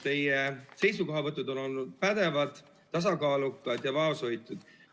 Teie seisukohavõtud on olnud pädevad, tasakaalukad ja vaoshoitud.